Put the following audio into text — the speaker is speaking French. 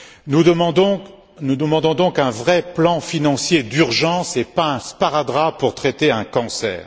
Nous demandons donc un vrai plan financier d'urgence, et pas un sparadrap pour traiter un cancer.